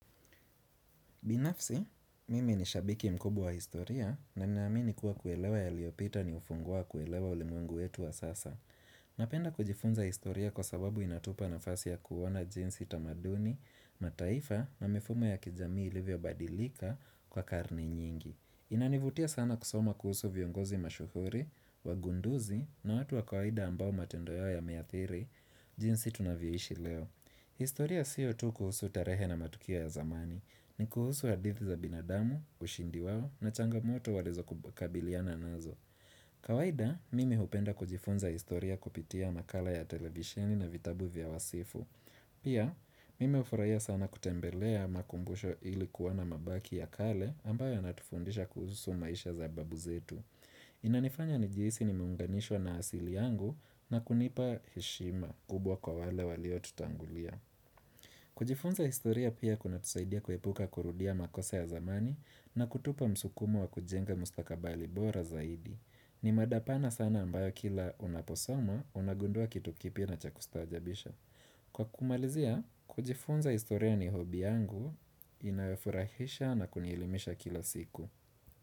Binafsi, mimi ni shabiki mkubwa wa historia na ninaamini kuwa kuelewa yaliyopita ni ufungua kuelewa ulimwengu wetu wa sasa. Napenda kujifunza historia kwa sababu inatupa nafasi ya kuona jinsi tamaduni, mataifa na mifumo ya kijamii ilivyobadilika kwa karne nyingi. Inanivutia sana kusoma kuhusu viongozi mashuhuri, wagunduzi na watu wa kawaida ambao matendo yao yameathiri, jinsi tunavyoishi leo. Historia sio tu kuhusu tarehe na matukia ya zamani, ni kuhusu hadithi za binadamu, ushindi wao na changamoto walizo kabiliana nazo. Kawaida, mimi hupenda kujifunza historia kupitia makala ya televisheni na vitabu vya wasifu. Pia, mimi hufurahia sana kutembelea makumbusho ili kuona mabaki ya kale ambayo yanatufundisha kuhusu maisha za babu zetu. Inanifanya nijihisi nimeunganishwa na asili yangu na kunipa heshima kubwa kwa wale waliotutangulia kujifunza historia pia kunatusaidia kuepuka kurudia makosa ya zamani na kutupa msukumo wa kujenga mustakabali bora zaidi ni mada pana sana ambayo kila unaposoma unagundua kitu kipya na cha kustaajabisha Kwa kumalizia, kujifunza historia ni hobi yangu inafurahisha na kunielimisha kila siku.